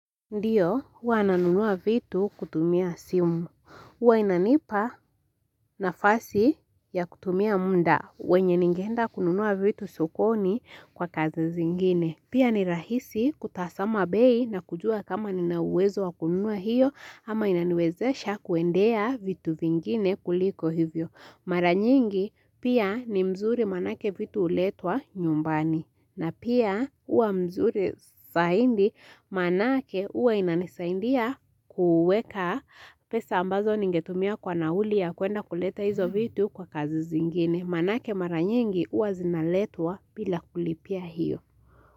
Ndiyo, huwa nanunua vitu kutumia simu. Huwa inanipa nafasi ya kutumia muda. Wenye ningeenda kununua vitu sokoni kwa kazi zingine. Pia ni rahisi kutazama bei na kujua kama nina uwezo wa kununua hiyo ama inaniwezesha kuendea vitu vingine kuliko hivyo. Mara nyingi, pia ni mzuri manake vitu uletwa nyumbani. Na pia uwa mzuri zaidi manake uwa inanisaidia kuweka pesa ambazo ningetumia kwa nauli ya kuenda kuleta hizo vitu kwa kazi zingine. Manake mara nyingi uwa zinaletwa bila kulipia hiyo.